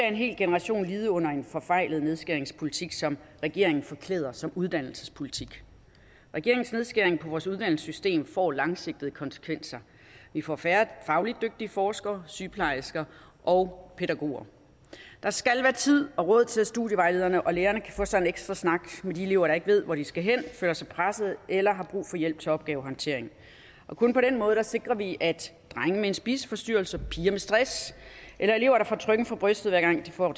en hel generation lide under en forfejlet nedskæringspolitik som regeringen forklæder som uddannelsespolitik regeringens nedskæring på vores uddannelsessystem får langsigtede konsekvenser vi får færre fagligt dygtige forskere sygeplejersker og pædagoger der skal være tid og råd til at studievejlederne og lærerne kan få sig en ekstra snak med de elever der ikke ved hvor de skal hen føler sig presset eller har brug for hjælp til opgavehåndtering kun på den måde sikrer vi at drenge med en spiseforstyrrelse piger med stress eller elever der får trykken for brystet hver gang de får